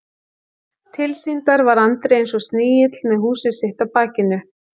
Tilsýndar var Andri eins og snigill með húsið sitt á bakinu.